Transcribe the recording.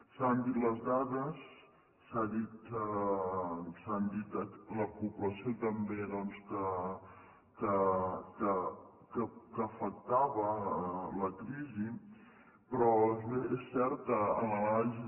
s’han dit les dades s’ha dit la població també doncs que afectava la crisi però és cert que en l’anàlisi